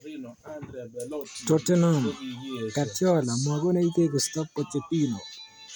Tottenham: Guardiola magonech tegisto - Pochettino.